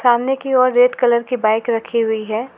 सामने की और रेड कलर की बाइक रखी हुई है।